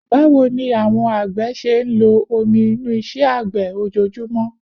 Báwo ni àwọn àgbẹ̀ ṣe ń lo omi inú iṣẹ́ àgbẹ̀ ojoojúmọ́?